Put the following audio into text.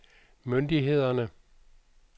myndighederne